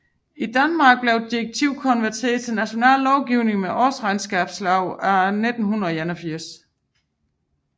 I Danmark blev direktivet konverteret til national lovgivning med Årsregnskabsloven af 1981